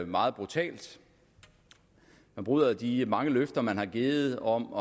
meget brutalt man bryder de mange løfter man har givet om